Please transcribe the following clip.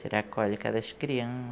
Tirar a cólica das